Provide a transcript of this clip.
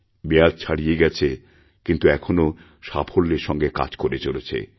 মেয়াদ ছাড়িয়ে গেছে কিন্তু এখনও সাফল্যের সঙ্গে কাজ করে চলেছে